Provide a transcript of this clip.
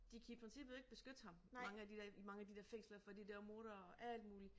De kan i princippet ikke beskytte ham mange af de der i mange af de der fængsler fordi der mordere og alt muligt